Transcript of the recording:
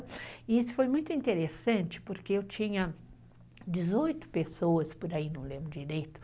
E isso foi muito interessante, porque eu tinha dezoito pessoas, por aí não lembro direito,